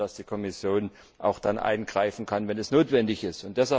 dass die Kommission auch dann eingreifen kann, wenn es notwendig ist.